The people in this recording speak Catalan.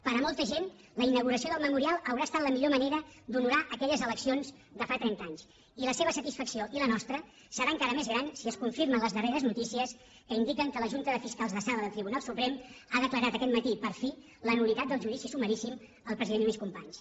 per molta gent la inauguració del memorial haurà estat la millor manera d’honorar aquelles eleccions de fa trenta anys i la seva satisfacció i la nostra serà encara més gran si es confirmen les darreres notícies que indiquen que la junta de fiscals de sala del tribunal suprem ha declarat aquest matí per fi la nul·litat del judici sumaríssim al president lluís companys